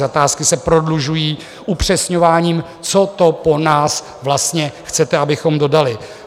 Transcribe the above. Zakázky se prodlužují upřesňováním, co to po nás vlastně chcete, abychom dodali.